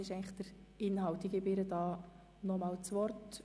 Deshalb gebe ich Grossrätin Dunning noch einmal das Wort.